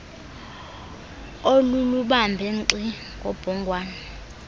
olulubambe nkxi ngobhongwane